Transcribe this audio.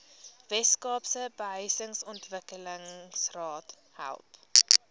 weskaapse behuisingsontwikkelingsraad help